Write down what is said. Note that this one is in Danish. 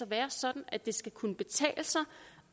være sådan at det skal kunne betale sig